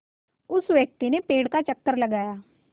उस व्यक्ति ने पेड़ का चक्कर लगाया